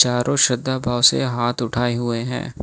चारों श्रद्धा भाव से हाथ उठाए हुए हैं।